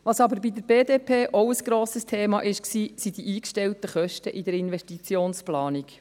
Was aber bei der BDP auch ein grosses Thema war, waren die eingestellten Kosten in der Investitionsplanung.